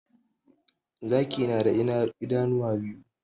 Zaki na da idanu biyu